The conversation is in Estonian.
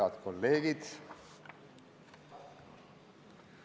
Head kolleegid!